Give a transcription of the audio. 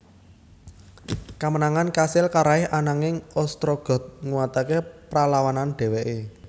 Kamenangan kasil karaih ananging Ostrogoth nguataké pralawanan dhèwèké